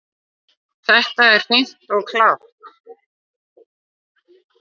Það er hreint og klárt.